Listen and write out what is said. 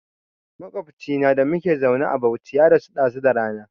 Maƙwabcina da muka zauna a Bauchi ya rasu ɗazu da rana